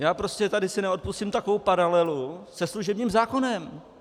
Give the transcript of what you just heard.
Já prostě tady si neodpustím takovou paralelu se služebním zákonem.